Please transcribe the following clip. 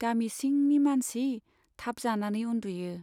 गामि सिंनि मानसि थाब जानानै उन्दुयो।